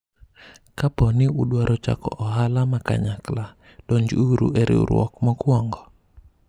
kapo ni udwaro chako ohala ma kanyakla , donj uru e riwruok mokwongo